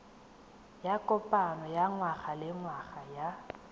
ya kopano ya ngwagalengwaga ya